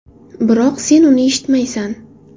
Biroq sen uni eshitmaysan!